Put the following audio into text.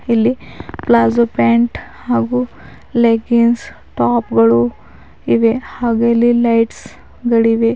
ಇಲ್ಲಿ palazzo pant ಹಾಗು leggings top ಗಳು ಇವೆ ಹಾಗೆ ಇಲ್ಲಿ ಲೈಟ್ಸ್ ಗಳಿವೆ.